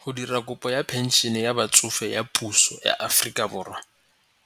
Go dira kopo ya phensene ya batsofe ya puso ya Aforika Borwa,